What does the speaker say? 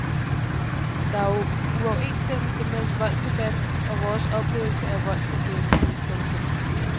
Der er uoverensstemmelse mellem voldsdebatten og vores oplevelse af voldsproblemet. punktum